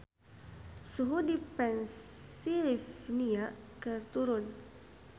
Suhu di Pennsylvania keur turun